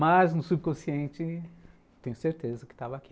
Mas no subconsciente, tenho certeza que estava aqui.